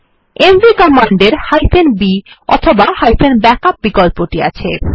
MV command এর b অথবা backup বিকল্পটি আছে